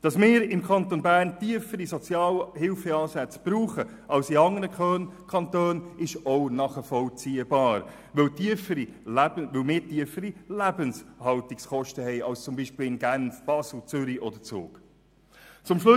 Dass wir im Kanton Bern tiefere Sozialhilfeansätze brauchen als in anderen Kantonen, ist ebenfalls nachvollziehbar, weil wir tiefere Lebenshaltungskosten als zum Beispiel Genf, Basel, Zürich oder Zug haben.